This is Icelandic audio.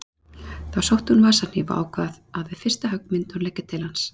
Þá sótti hún vasahníf og ákvað að við fyrsta högg myndi hún leggja til hans.